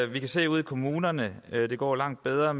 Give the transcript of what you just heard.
vi kan se ude i kommunerne at det går langt bedre